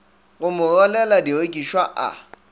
go mo rwalela direkišwa a